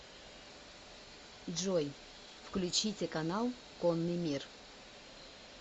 джой включите канал конный мир